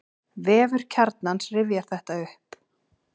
Vefur Kjarnans rifjar þetta upp.